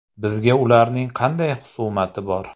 Bizga ularning qanday xusumati bor?